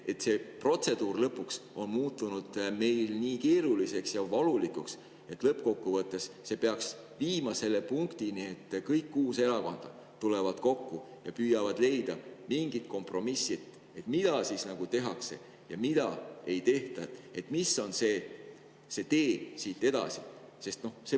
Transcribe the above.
See protseduur on muutunud meil nii keeruliseks ja valulikuks, et lõppkokkuvõttes peaks see viima selle punktini, et kõik kuus erakonda tulevad kokku ja püüavad leida mingi kompromissi, mida tehakse ja mida ei tehta ja mis on see tee siit edasi.